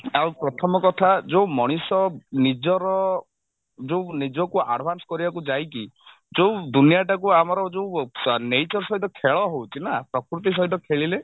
ଆଉ ପ୍ରଥମ କଥା ଯଉ ମଣିଷ ନିଜର ଯଉ ନିଜକୁ advance କରିବାକୁ ଯାଇକି ଯଉ ଦୁନିଆଟାକୁ ଆମର ଯଉ nature ସହିତ ଖେଳ ହଉଛି ନା ପ୍ରକୃତି ସହିତ ଖେଳିଲେ